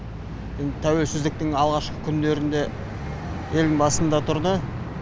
тәуелсіздіктің алғашқы күндерінде елдің басында тұрды